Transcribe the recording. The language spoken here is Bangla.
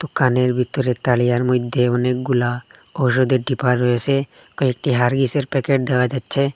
দোকানের ভিতরে তারিয়ার মইধ্যে অনেকগুলা ওষুধের ডিব্বা রয়েসে কয়েকটি হারলিক্সের গেছে প্যাকেট দেখা যাচ্ছে।